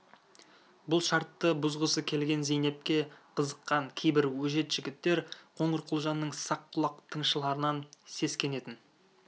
бұл шартты бұзғысы келген зейнепке қызыққан кейбір өжет жігіттер қоңырқұлжаның сақ құлақ тыңшыларынан сескенетін